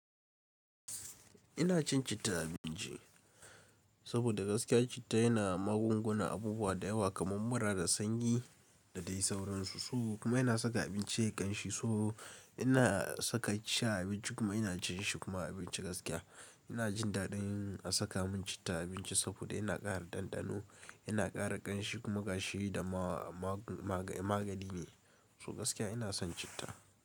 Ina cin citta abinci saboda gaskiya citta yana magunguna abubuwa da yawa kamar mura da sanyi da dai sauransu. So kuma yana saka abinci yayi ƙanshi. So ina saka ci abinci kuma ina cin shi kuma abinci gaskiya. Ina jin daɗin a saka mun citta abinci saboda yana ƙara ɗanɗano, yana ƙara ƙanshi kuma ƙashi da ma magani ne. So gaskiya ina son citta.